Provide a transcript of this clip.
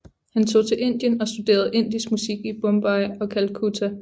Han tog til Indien og studerede indisk musik i Bombay og Calcutta